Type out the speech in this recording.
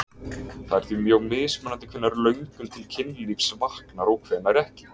Það er því mjög mismunandi hvenær löngun til kynlífs vaknar og hvenær ekki.